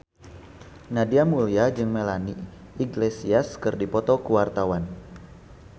Nadia Mulya jeung Melanie Iglesias keur dipoto ku wartawan